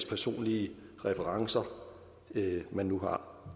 personlige præferencer man nu har